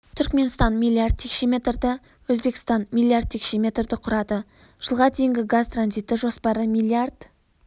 түркменстан миллиард текше метрді өзбекістан миллиард текше метрді құрады жылға дейінгі газ транзиті жоспары миллиард